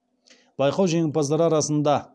байқау жеңімпаздары арасында